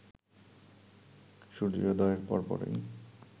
সূর্যোদয়ের পরপরই